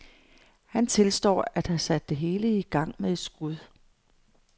Han tilstår at have sat det hele i gang med skud.